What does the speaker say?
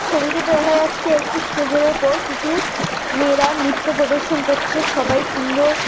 ছবিটিতে দেখা যাচ্ছে একটি স্টেজ -এর ওপর কিছু মেয়েরা নিত্য প্রদর্শন করছে। সবাই সুন্দর--